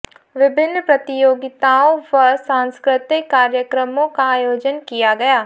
विभिन्न प्रतियोगिताओं व सांस्कृतिक कार्यक्रमों का आयोजन किया गया